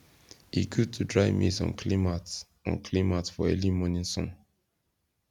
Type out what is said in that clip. e good to dry maize on clean mat on clean mat for early morning sun